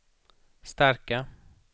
starka